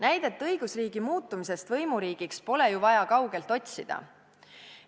Näidet õigusriigi muutumisest võimuriigiks pole ju vaja kaugelt otsida.